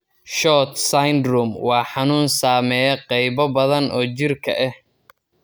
SHORT syndrome waa xanuun saameeya qaybo badan oo jirka ah.